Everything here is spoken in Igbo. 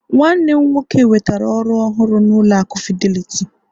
nwannem nwoke nwetara oru ohuru na ụlọ aku fidelity